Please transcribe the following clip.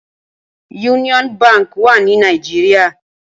Úniòn bànkí wà ni Nàijiriá